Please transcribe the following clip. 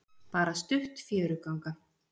Bara stutt fjöruganga.